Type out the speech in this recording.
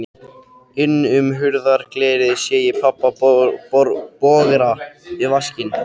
Inn um hurðarglerið sé ég pabba bogra við vaskinn.